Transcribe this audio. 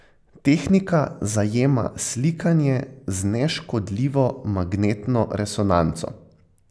Tehnika zajema slikanje z neškodljivo magnetno resonanco.